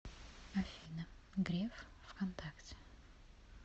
афина греф вконтакте